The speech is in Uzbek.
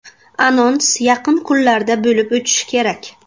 Anons yaqin kunlarda bo‘lib o‘tishi kerak.